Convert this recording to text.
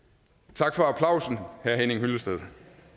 tak for applausen herre henning hyllested